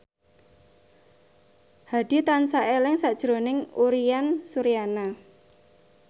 Hadi tansah eling sakjroning Uyan Suryana